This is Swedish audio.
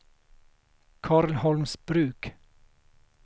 Karlholmsbruk